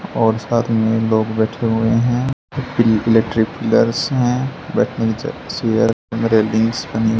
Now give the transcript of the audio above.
और साथ में लोग बैठे हुए हैं प्रि इलेक्ट्रिक पिलर्स हैं बैठने की ज चेअर रेलिंगस बनी--